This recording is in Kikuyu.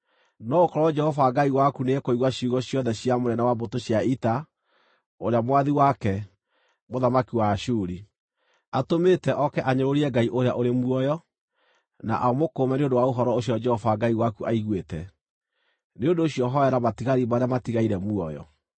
No gũkorwo Jehova Ngai waku nĩekũigua ciugo ciothe cia mũnene wa mbũtũ cia ita, ũrĩa mwathi wake, mũthamaki wa Ashuri, atũmĩte oke anyũrũrie Ngai ũrĩa ũrĩ muoyo, na amũkũũme nĩ ũndũ wa ũhoro ũcio Jehova Ngai waku aiguĩte. Nĩ ũndũ ũcio hoera matigari marĩa matigaire muoyo.”